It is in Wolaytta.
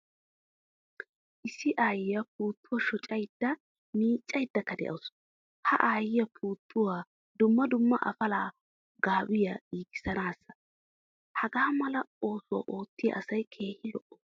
Issi aayiyaa puutuwaa shoccayda miccaydakka de'awusu. H a aayiyaa puutuwappe dumma dumma afala, gaabiyaa, giigisanasa. Hagaa mala oosuwaa oottiya asay keehin al''o.